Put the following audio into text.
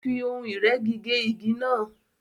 Ó fí ohun ìrẹ́gi gé igi náà